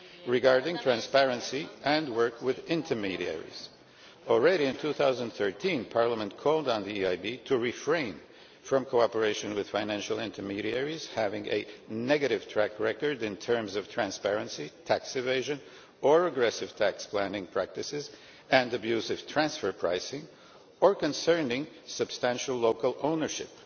Regarding transparency and work with intermediaries, already in 2013 Parliament called on the EIB to refrain from cooperation with financial intermediaries having a negative track record in terms of transparency, tax evasion or aggressive tax planning practices and abusive transfer pricing, or concerning substantial local ownership.